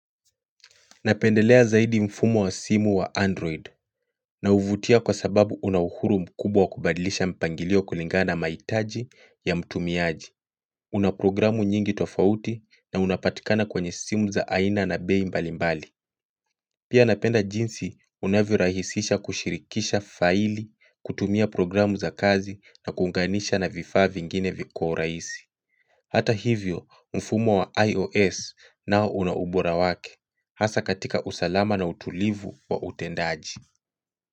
Napendelea zaidi mfumo wa simu wa android na uvutia kwa sababu unauhuru mkubwa kubadilisha mpangilio kulingana na maitaji ya mtumiaji Unaprogramu nyingi tofauti na unapatikana kwenye simu za aina na bei mbalimbali Pia napenda jinsi unavyorahisisha kushirikisha faili, kutumia programu za kazi na kuunganisha na vifaa vingine kwa uraisi Hata hivyo mfumo wa IOS nao una ubora wake, hasa katika usalama na utulivu wa utendaji.